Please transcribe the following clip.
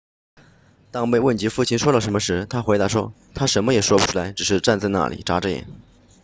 当被问及父亲说了什么时她回答说他什么也说不出来只是站在那里眨着眼